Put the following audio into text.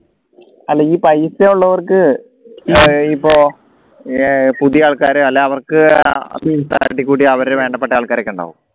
അല്ല ഈ പൈസ ഉള്ളവർക്ക് ആഹ് ഇപ്പോ ഏർ പുതിയ ആൾക്കാരെയും അവർക്ക് തട്ടിക്കൂട്ടി അവരുടെ വേണ്ടപ്പെട്ട ആൾക്കാർക്കെ ഉണ്ടാവും